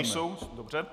Nejsou, dobře.